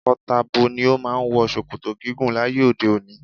Tako-tabo ni o máa ń wọ ṣòkòtò gígùn láyé òde òni.